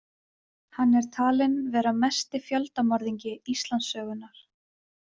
Hann er talinn vera mesti fjöldamorðingi Íslandssögunnar.